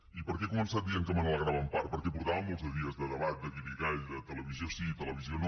i per què he començat dient que me n’alegrava en part perquè portàvem molts de dies de debat de guirigall de televisió sí televisió no